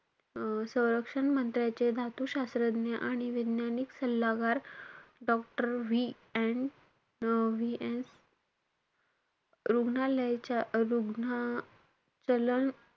अं संरक्षण मंत्र्यांचे धातुशास्त्रज्ञ आणि वैज्ञानिक सल्लागार डॉक्टर VN अं VN रुग्णालयाच्या~ रुग्ना~ चलन,